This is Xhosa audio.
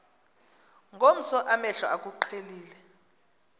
ngomso amehlo akuqhelile